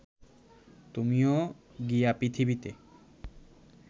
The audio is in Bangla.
তুমিও গিয়া পৃথিবীতে